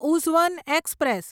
ઉઝવન express